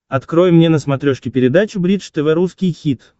открой мне на смотрешке передачу бридж тв русский хит